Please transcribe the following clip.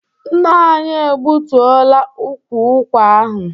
Nna anyị egbutuola ukwu ụkwa ahụ.